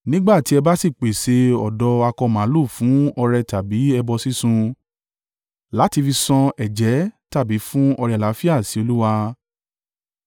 “ ‘Nígbà tí ẹ bá sì pèsè ọ̀dọ́ akọ màlúù fún ọrẹ tàbí ẹbọ sísun, láti fi san ẹ̀jẹ́ tàbí fún ọrẹ àlàáfíà sí Olúwa,